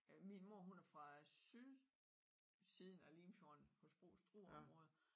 Min mor hun er fra sydsiden af Limfjorden hos Struer området